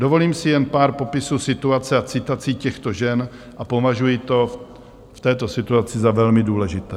Dovolím si jen pár popisů situace a citací těchto žen a považuji to v této situaci za velmi důležité.